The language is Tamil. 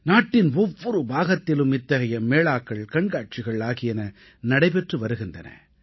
நாட்டின் ஒவ்வொரு பாகத்திலும் இத்தகைய மேளாக்கள் கண்காட்சிகள் ஆகியன நடைபெற்று வருகின்றன